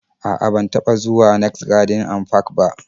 A'a, ban taba zuwa next garden and park ba